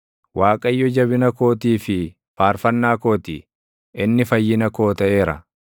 Waaqayyo jabina kootii fi faarfannaa koo ti; inni fayyina koo taʼeera.